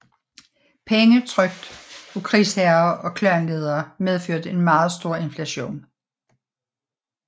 Penge trykt af krigsherrer og klanledere medførte en meget stor inflation